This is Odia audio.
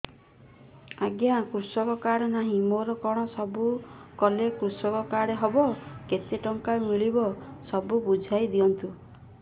ଆଜ୍ଞା କୃଷକ କାର୍ଡ ନାହିଁ ମୋର କଣ ସବୁ କଲେ କୃଷକ କାର୍ଡ ହବ କେତେ ଟଙ୍କା ମିଳିବ ସବୁ ବୁଝାଇଦିଅନ୍ତୁ